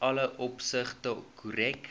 alle opsigte korrek